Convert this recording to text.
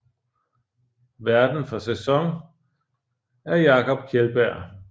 Værten for sæson er Jakob Kjeldbjerg